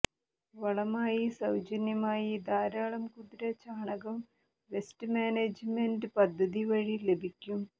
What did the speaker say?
വളമായി സൌജന്യമായി ധാരാളം കുതിര ചാണകം വെസ്റ്റ് മാനേജ്മെന്റ് പദ്ധതി വഴി ലഭിക്കും